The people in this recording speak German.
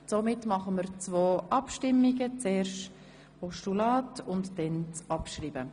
Somit stimmen wir zuerst über das Postulat ab und anschliessend über dessen Abschreibung.